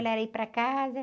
ir para casa.